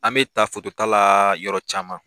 An bɛ ta fotota la yɔrɔ caman